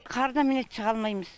қардан міне шыға алмаймыз